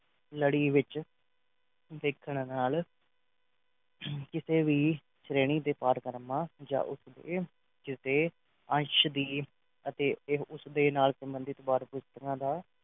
ਲੜੀ ਵਿੱਚ ਦੇਖਣ ਨਾਲ ਅਰ ਕਿਤੇ ਵੀ ਸ਼੍ਰੇਣੀ ਦੇ ਪਾਰ ਕਰਨਾ ਜਾਂ ਉਸ ਦੇ ਜਿਸ ਦੇ ਅੰਸ਼ ਦੀ ਅਤੇ ਤੇ ਉਸ ਦੇ ਨਾਲ ਸੰਬੰਧਿਤ ਬਾਰ ਪੁਸਤਕਾਂ ਦਾ